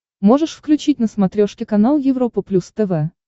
можешь включить на смотрешке канал европа плюс тв